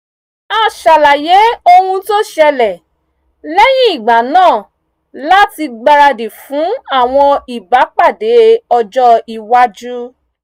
a ṣàlàyé ohun tó ṣẹlẹ̀ lẹ́yìn ìgbà náà láti gbáradì fún àwọn ìbápàdé ọjọ́ iwájú